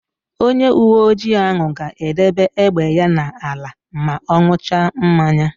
Onyeuweoji ahụ ga-edebe égbè ya n'ala ma ọ n̄ụcha mmanya.